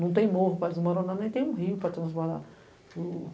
Não tem morro pra desmoronar, nem tem um rio pra transbordar.